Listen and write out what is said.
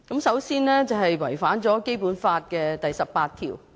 首先，是違反了《基本法》第十八條。